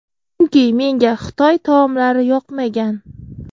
Chunki menga Xitoy taomlari yoqmagan.